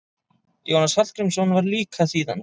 Jónas Hallgrímsson var líka þýðandi.